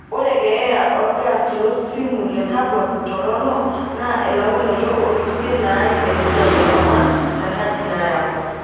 Ore keeya olgaas losimu le kabon toronok naa elaunoto oolusien naaim enkijiepe aipang tenkaji nayau.